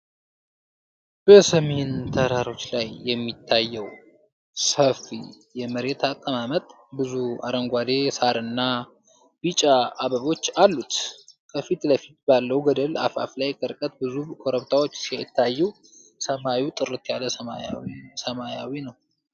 በሰሜን ተራሮች ላይ የሚታየው ሰፊ የመሬት አቀማመጥ ብዙ አረንጓዴ ሣርና ቢጫ አበቦች አሉት። ከፊት ለፊት ባለው ገደል አፋፍ ላይ ከርቀት ብዙ ኮረብታዎች ሲታዩ ሰማዩ ጥርት ያለ ሰማያዊ ነው።